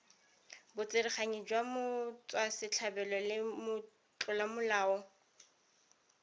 botsereganyi jwa motswasetlhabelo le motlolamolao